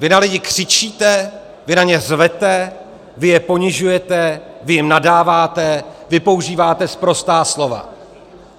Vy na lidi křičíte, vy na ně řvete, vy je ponižujete, vy jim nadáváte, vy používáte sprostá slova.